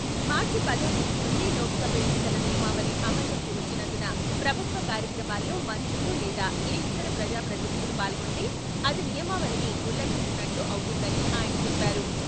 మార్చి పదవ తేదీ నుండి లోక్సభ ఎన్నికల నియమావళి అమల్లోకి వచ్చినందున ప్రభుత్వ కార్యక్రమాల్లో మంత్రులు లేదా ఏ ఇతర ప్రజా ప్రతినిధులు పాల్గొంటే అది నియమావళిని ఉల్లఘించినట్లు అవుతుందని ఆయన చెప్పారు.